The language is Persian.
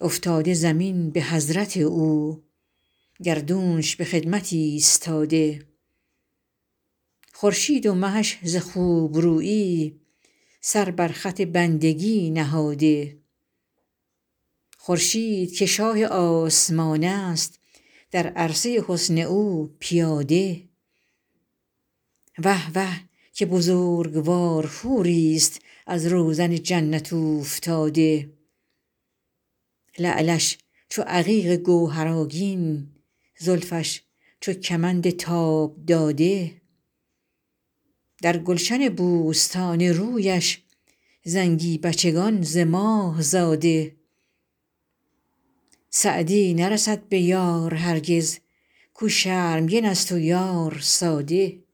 افتاده زمین به حضرت او گردونش به خدمت ایستاده خورشید و مهش ز خوبرویی سر بر خط بندگی نهاده خورشید که شاه آسمان است در عرصه حسن او پیاده وه وه که بزرگوار حوریست از روزن جنت اوفتاده لعلش چو عقیق گوهرآگین زلفش چو کمند تاب داده در گلشن بوستان رویش زنگی بچگان ز ماه زاده سعدی نرسد به یار هرگز کاو شرمگن است و یار ساده